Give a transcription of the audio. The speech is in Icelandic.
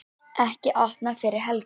Ekki opnað fyrir helgi